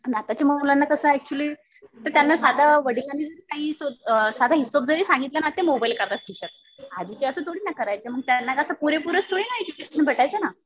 आणि आताच्या मुलांना कसं एक्चुअली जर त्यांना साधं वडिलांनी जरी साधा हिशोब सांगितला ते मोबाईल काढतात खिशातनं. आधीचे असं थोडीना करायचे. त्यांना कसं पुरेपूर थोडी ना एज्युकेशन भेटायचं ना.